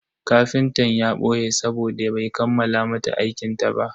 Kafintan ya boye sabode bai kammala mata aikinta ba.